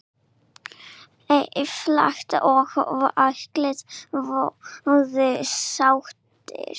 Einfalt og allir voða sáttir!